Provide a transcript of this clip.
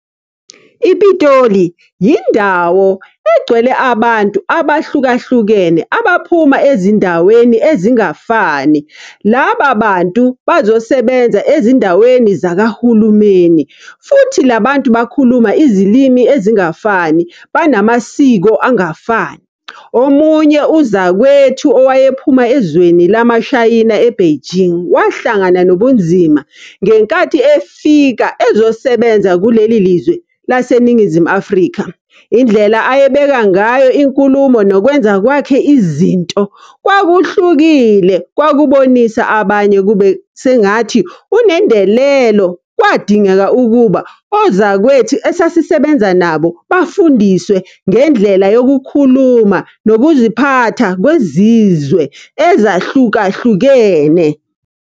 Ipitoli, yindawo egcwele abantu abahlukahlukene abaphuma ezindaweni ezingafani. Laba bantu bazosebenza ezindaweni zakahulumeni. Futhi la bantu bakhuluma izilimi ezingafani, banamasiko angafani. Omunye uzakwethu owayephuma ezweni lama shayina e-Beijing, wahlangana nobunzima ngenkathi efika ezosebenza kuleli lizwe laseNingizimu Afrika. Indlela ayebeka ngayo inkulumo nokwenza kwakhe izinto, kwakuhlukile, kwakubonisa abanye kube sengathi unendelelo. Kwadingeka ukuba ozakwethu esasisebenza nabo, bafundiswe ngendlela yokukhuluma, nokuziphatha kwezizwe ezahlukahlukene.